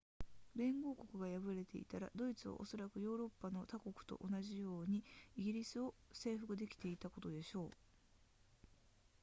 連合国が敗れていたらドイツはおそらくヨーロッパの他国と同じように英国を征服できていたことでしょう